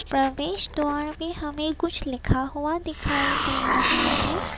प्रवेश द्वार पर हमें कुछ लिखा हुआ दिखाई दे रहा है।